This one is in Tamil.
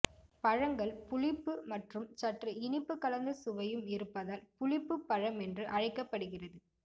பழங்கள் புளிப்பு மற்றும் சற்று இனிப்பு கலந்த சுவையும் இருப்பதால் புளிப்புபழம் என்று அழைக்கப்படுகிறது